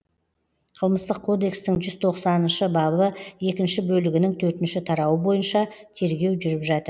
қылмыстық кодекстің жүз тоқсаныншы бабы екінші бөлігінің төртінші тарауы бойынша тергеу жүріп жатыр